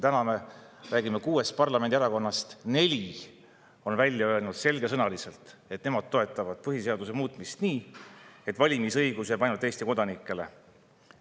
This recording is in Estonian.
Täna me räägime, et kuuest parlamendierakonnast neli on öelnud selgesõnaliselt, et nemad toetavad põhiseaduse muutmist nii, et valimisõigus jääks ainult Eesti kodanikele.